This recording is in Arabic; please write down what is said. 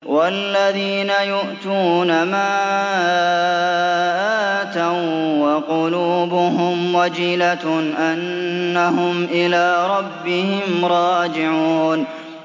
وَالَّذِينَ يُؤْتُونَ مَا آتَوا وَّقُلُوبُهُمْ وَجِلَةٌ أَنَّهُمْ إِلَىٰ رَبِّهِمْ رَاجِعُونَ